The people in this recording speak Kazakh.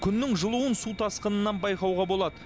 күннің жылуын су тасқынынан байқауға болады